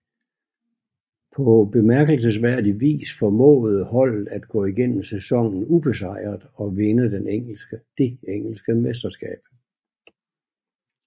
På bemærkelsesværdig vis formåede holdet at gå igennem sæsonen ubesejret og vinde det engelske mesterskab